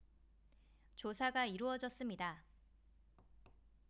조사가 이루어졌습니다